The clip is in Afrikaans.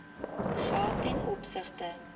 geld ten opsigte